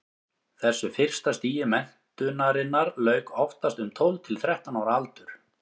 þessu fyrsta stigi menntunarinnar lauk oftast um tólf til þrettán ára aldur